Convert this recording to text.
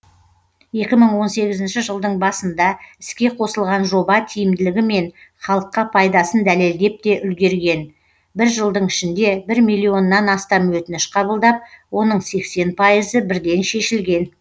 екі мың он сегізінші жылдың басында іске қосылған жоба тиімділігі мен халыққа пайдасын дәлелдеп те үлгерген бір жылдың ішінде бір миллионнан астам өтініш қабылдап оның сексен пайызы бірден шешілген